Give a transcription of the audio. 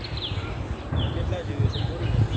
કેટલા જોયીને ને બોલ ને